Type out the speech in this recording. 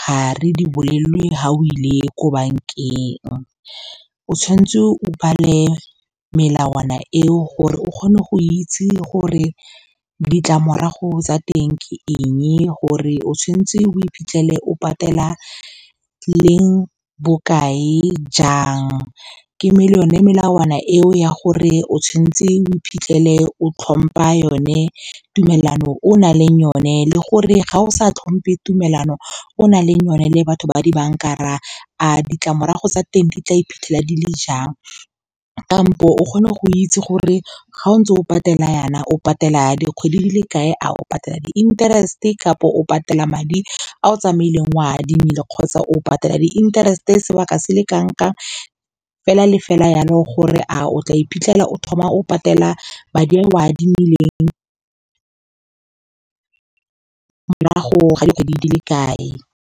ga re di bolelelwe ga o ile ko bankeng. O tshwanetse o bale melawana eo gore o kgone go itse gore ditlamorago tsa teng ke eng, gore o tshwantse o iphitlhele o patela leng, bokae, jang. Le melawana eo ya gore o tshwantse o iphitlhele o tlhompa yone tumelano e o nang le yone. Le gore fa o sa tlhompe tumelano e o nang le yone le batho ba dibanka, a ditlamorago tsa teng di tla iphitlhela di le jang, kampo o kgone go itse gore fa o ntse o patela yana, o patela dikgwedi di le kae, a o patela di-interest-e kapa o patela madi a o tsamaileng oa adimile, kgotsa o patela di-interest-e sebaka se le kanang kang fela le fela yalo, gore a o tla iphitlhela o thoma o patela madi a o a adimileng morago ga dikgwedi di le kae.